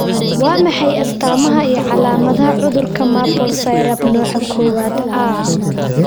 Waa maxay astamaha iyo calaamadaha cudurka Maple syrup nooca kowaad A?